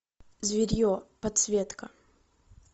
зверье подсветка